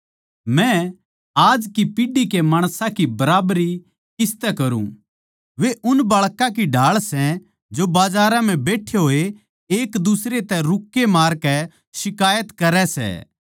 मै आज की पीढ़ी के माणसां की बराबरी किसतै करूँ वे उन बाळकां की ढाळ सै जो बजारां म्ह बैट्ठे होए एक दुसरै तै रुक्के मारकै शिकायत करै सै